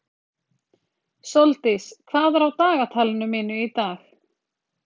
Sóldís, hvað er á dagatalinu mínu í dag?